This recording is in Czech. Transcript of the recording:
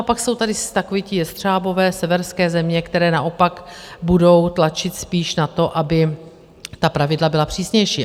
A pak jsou tady takoví ti jestřábové, severské země, které naopak budou tlačit spíš na to, aby ta pravidla byla přísnější.